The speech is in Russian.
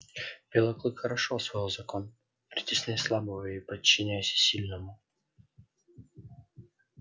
белый клык хорошо усвоил закон притесняй слабого и подчиняйся сильному